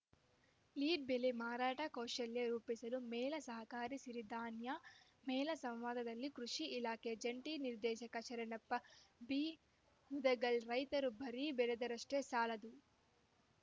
lead ಬೆಳೆ ಮಾರಾಟ ಕೌಶಲ್ಯ ರೂಪಿಸಲು ಮೇಳ ಸಹಕಾರಿ ಸಿರಿಧಾನ್ಯ ಮೇಳ ಸಂವಾದದಲ್ಲಿ ಕೃಷಿ ಇಲಾಖೆ ಜಂಟಿ ನಿರ್ದೇಶಕ ಶರಣಪ್ಪ ಬಿಮುದಗಲ್‌ ರೈತರೂ ಬರೀ ಬೆಳೆದರಷ್ಟೇ ಸಾಲದು